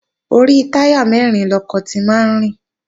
Orí táyà mẹ́rin lọkọ̀ ti máa ń rìn